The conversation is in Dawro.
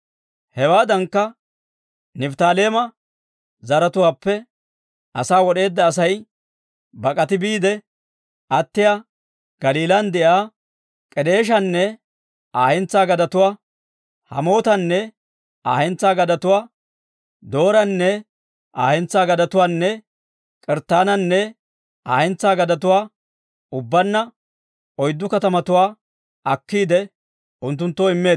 Hewaadankka Nifttaaleema zaratuwaappe asaa wod'eedda Asay bak'ati biide attiyaa Galiilan de'iyaa K'edeeshanne Aa hentsaa gadetuwaa, Hammootanne Aa hentsaa gadetuwaa, Dooranne Aa hentsaa gadetuwaanne K'arttaananne Aa hentsaa gadetuwaa, ubbaanna oyddu katamatuwaa akkiide, unttunttoo immeeddino.